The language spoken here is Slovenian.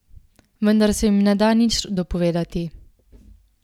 Vendar se jim ne da nič dopovedati.